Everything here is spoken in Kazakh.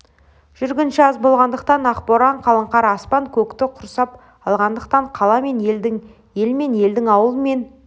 жүргінші аз болғандықтан ақ боран қалың қар аспан-көкті құрсап алғандықтан қала мен елдің ел мен елдің ауыл мен